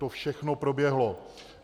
To všechno proběhlo.